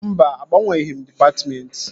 Mba, agbanweghị m dịpatmentị